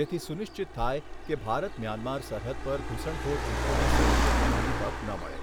જેથી સુનિશ્ચિત થાય કે ભારત મ્યાન્માર સરહદ પર ઘૂસણખોર જૂથોને સક્રિય થવાની તક ન મળે.